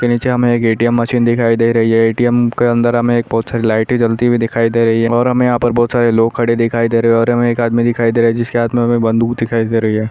उसके नीचे एक ए.टी.एम मशीन दिखाई दे रही है ए.टी.एम के अंदर हमे बहुत सारी लाइटे जलती हुई दिखाई दे रही है और हमे यहा पर बहुत सारे लोग खड़े दिखाई दे रहे है और एक आदमी दिखाई दे रहा है जिस के हाथ मे हमे बंदूक दिखाई दे रहा है।